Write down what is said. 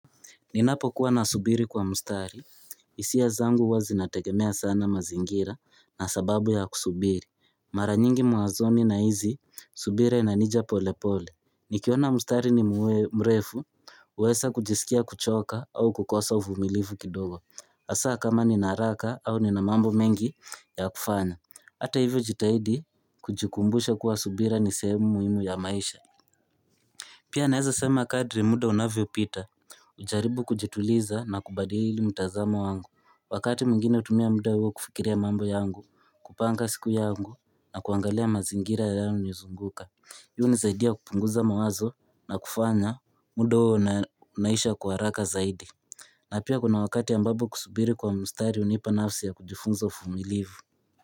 Ninapo kuwa nasubiri kwa mustari, hisia zangu zinategemea sana mazingira na sababu ya kusubiri. Mara nyingi muwazoni na hizi, subira inanija pole pole. Nikiona mustari ni mrefu, huweza kujisikia kuchoka au kukosa uvumilivu kidogo. Hasaa kama ninaharaka au ninamambo mengi ya kufanya Hata hivyo jitahidi kujikumbusha kuwa subira ni sehemu muhimu ya maisha. Pia naeza sema kadri muda unavyo pita, hujaribu kujituliza na kubadili mtazamo wangu Wakati mwingine hutumia muda huo kufikiria mambo yangu, kupanga siku yangu na kuangalia mazingira yanayonizunguka Yuhu nizaidia kupunguza mawazo na kufanya muda huo unaisha kwa haraka zaidi na pia kuna wakati ambapo kusubiri kwa mstari hunipa nafsi ya kujifunza ufumilivu.